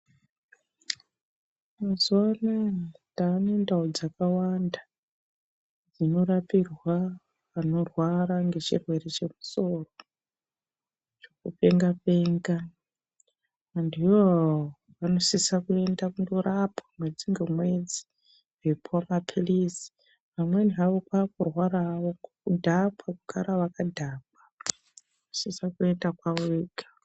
Mazuva anaya tane ndau dzaka wanda dzino rapirwa vano rwara nge chirwere che musoro zveku penga penga antu iwawawo ano sisa kuenda kundo rapwa mwedzi nge mwedzi wei puwa mapilizi amweni hawo kwaku rwara hawo kudhakwa kurara vaka dhakwa vanosisa kuenda kwavo vega.